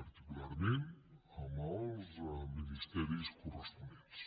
particularment amb els ministeris corresponents